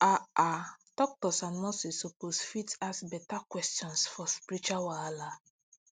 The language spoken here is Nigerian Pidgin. ah ah doctors and nurses suppose fit ask beta questions for spiritual wahala